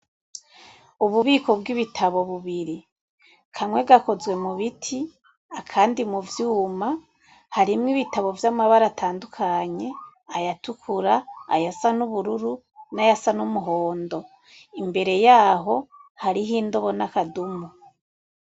Ububiko bw'ibitabo bubiri. Kamwe gakozwe mu biti, akandi mu vyuma. Harimwo ibitabo vy'amabara atandukanye: ayatukura, ayasa n'ubururu, n'ayasa n'umuhondo. Imbere yaho, hariho indobo n'akadumu.